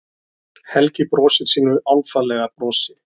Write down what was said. Helgi brosir sínu álfalega brosi.